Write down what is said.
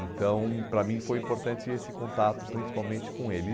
Então, para mim, foi importante esse contato, principalmente com ele.